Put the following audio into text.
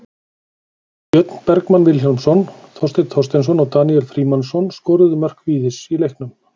Björn Bergmann Vilhjálmsson, Þorsteinn Þorsteinsson og Daníel Frímannsson skoruðu mörk Víðis í leiknum.